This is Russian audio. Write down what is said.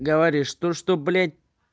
говоришь то что блять